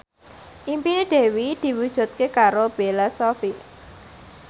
impine Dewi diwujudke karo Bella Shofie